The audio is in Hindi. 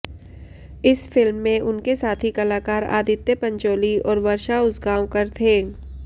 इस फिल्म में उनके साथी कलाकार आदित्य पंचोली और वर्षा उसगांवकर थे